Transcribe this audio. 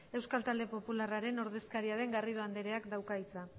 euskal talde popularraren ordezkaria den garrido andreak dauka hitza